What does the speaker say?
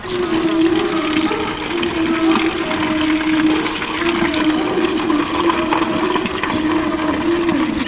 इस इमेज में यहां पर एक इमारत दिखाई दे रही है और जहां पर नीचे दो तीन कार खड़ी नजर आ रही है।